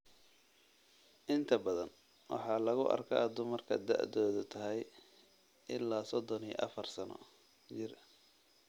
Inta badan waxaa lagu arkaa dumarka da'doodu tahay ilaa sodon iyo afar sano jir.